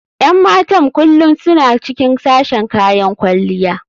Yan matan kullum suna cikin sashen kayan kwalliya.